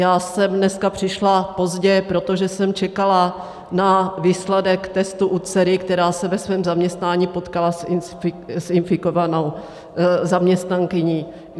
Já jsem dneska přišla pozdě, protože jsem čekala na výsledek testu u dcery, která se ve svém zaměstnání potkala s infikovanou zaměstnankyní.